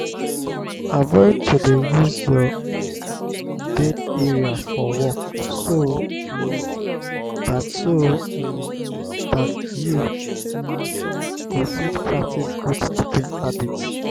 avoid to dey use your um bed area for work so um dat so um dat you um go fit practice good sleeping habit